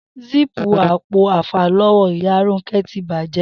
Síìpù apo àfàló̩wó̩ ìyá Rónké̩ ti bàjé̩